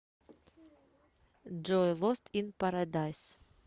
джой лост ин парадайз